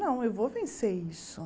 Não, eu vou vencer isso.